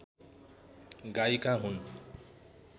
गायिका हुन्।